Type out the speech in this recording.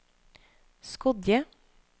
Skodje